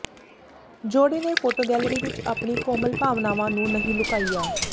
ਜੋੜੇ ਨੇ photo gallery ਵਿਚ ਆਪਣੀ ਕੋਮਲ ਭਾਵਨਾਵਾਂ ਨੂੰ ਨਹੀਂ ਲੁਕਾਇਆ